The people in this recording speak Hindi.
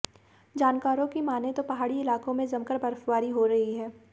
जानकारों की मानें तो पहाड़ी इलाकों में जमकर बर्फबारी हो रही है